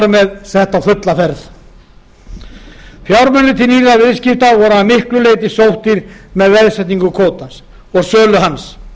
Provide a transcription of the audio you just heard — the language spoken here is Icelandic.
með sett á fulla ferð fjármunir til nýrra viðskipta voru að miklu leyti sóttir með veðsetningu kvótans og sölu hans